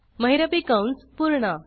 महिरपी कंस पूर्ण